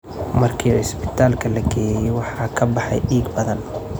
Markii cisbitaalka la geeyey waxa ka baxay dhiig badan.